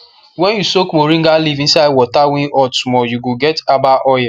when you soak moringa leaf inside water wey hot small you go get herbal oil